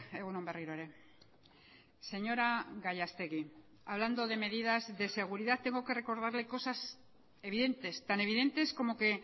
egun on berriro ere señora gallastegui hablando de medidas de seguridad tengo que recordarle cosas evidentes tan evidentes como que